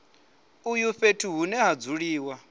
uyu fhethu hune ha dzuliwa